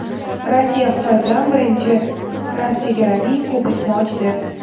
Rossiya Xitoy bilan birinchi transchegaraviy ko‘prikni ochdi.